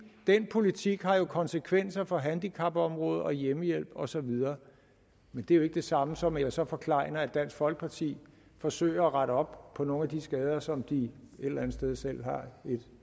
den politik har jo konsekvenser for handicapområdet og hjemmehjælp og så videre men det er jo ikke det samme som at jeg så forklejner at dansk folkeparti forsøger at rette op på nogle af de skader som de et eller andet sted selv har et